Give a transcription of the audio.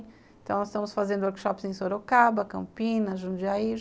Então nós estamos fazendo workshops em Sorocaba, Campinas, Jundiaí.